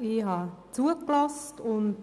Ich habe zugehört und